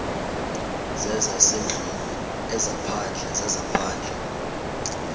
zezasendlwini ezaphandle zezaphandle